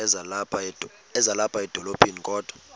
ezilapha edolophini kodwa